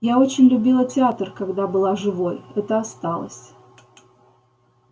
я очень любила театр когда была живой это осталось